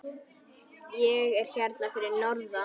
Ég er hérna fyrir norðan.